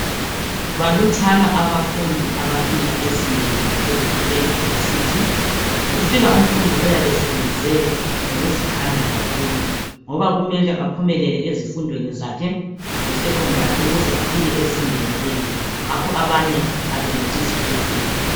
Balutshwana abafundi abafika ezingeni laphezulu, e-university. Kufika umfundi oyabe esebenze ngokuzikhandla kakhulu, ngoba kumele aphumelele ezifundweni zakhe zesecondary, ukuze afike ezingeni leli. Ngakho abanye abenelisi ukufika.